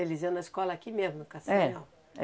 Eles iam na escola aqui mesmo, no? É.